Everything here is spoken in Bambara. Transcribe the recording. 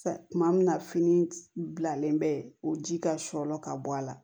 Tuma min na fini bilalen bɛ o ji ka sɔlɔn ka bɔ a la